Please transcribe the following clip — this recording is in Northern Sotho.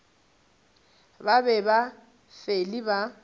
ba be ba fele ba